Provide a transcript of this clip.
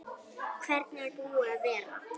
Hvernig er búið að vera?